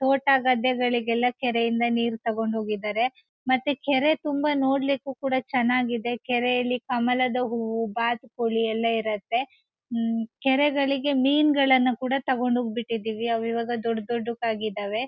ತೋಟ ಗದ್ದೆಗಳಿಗೆಲ್ಲ ಕೆರೆಯಿಂದ ನೀರ್ ತಗೊಂಡು ಹೋಗಿದ್ದರೆ ಮತ್ತೆ ಕೆರೆ ತುಂಬಾ ನೋಡ್ಲಿಕ್ಕೂ ಕೂಡ ತುಂಬಾ ಚೆನ್ನಗಿಯಿದೆ ಕೆರೆಯಲ್ಲಿ ಕಮಲದ ಹೂವು ಬಾತು ಕೋಳಿ ಎಲ್ಲ ಇರುತ್ತೆ ಉಮ್ಮ್ಮ್ ಕೆರೆಗಳಿಗೆ ಮಿನ್ ಗಳನ್ನ ಕೂಡ ತಗೊಂಡು ಹೋಗಿ ಬಿಟ್ಟಿದೀವಿ ಅವು ಈಗವ ದೊಡ್ಡ್ ದೂಡ್ಡಕ್ಕೆ ಆಗಿದಾವೆ.